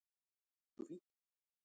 Það gengur fínt